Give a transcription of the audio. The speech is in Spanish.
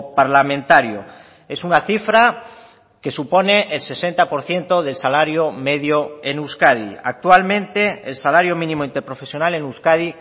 parlamentario es una cifra que supone el sesenta por ciento del salario medio en euskadi actualmente el salario mínimo interprofesional en euskadi